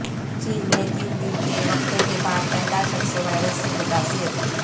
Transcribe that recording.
چین میں تین دن کے وقفہ کے بعد پہلا شخص وائرس سے متاثر